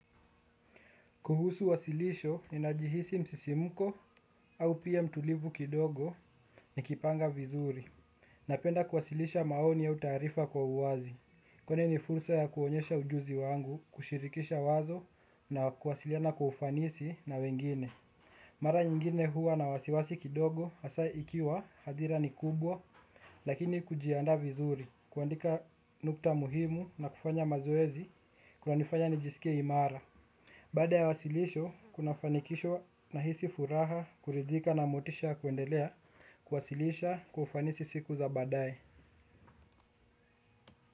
Kuhusu wasilisho ninajihisi msisimuko au pia mtulivu kidogo nikipanga vizuri. Napenda kuwasilisha maoni au taarifa kwa uwazi, kwanza ni fursa ya kuonyesha ujuzi wangu, kushirikisha wazo na kuwasiliana kwa ufanisi na wengine. Mara nyingine huwa na wasiwasi kidogo, hasa ikiwa hadhira ni kubwa, lakini kujiandaa vizuri, kuandika nukta muhimu na kufanya mazoezi, kunanifanya nijisikie imara. Baada ya wasilisho, kuna fanikisho nahisi furaha kuridhika na motisha kuendelea kuwasilisha kwa ufanisi siku za baadae.